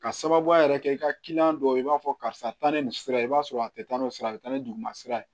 Ka sababuya yɛrɛ kɛ i ka kiliyan dɔw ye i b'a fɔ karisa taa ni nin sira ye i b'a sɔrɔ a tɛ taa ni sira bɛ taa ni duguma sira ye